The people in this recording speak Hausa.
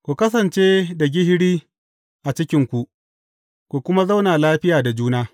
Ku kasance da gishiri a cikinku, ku kuma yi zauna lafiya da juna.